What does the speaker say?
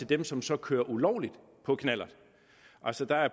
dem som så kører ulovligt på knallert altså der er